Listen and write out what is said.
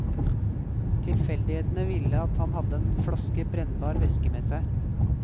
Tilfeldighetene ville at han hadde en flaske brennbar væske med seg.